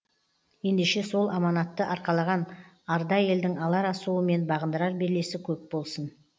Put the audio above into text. ендеше сол аманатты арқалаған арда елдің алар асуы мен бағындырар белесі көп болсын